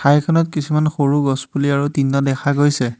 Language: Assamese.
ঠাইখনত কিছুমান সৰু গছপুলি আৰু তিনিটা দেখা গৈছে।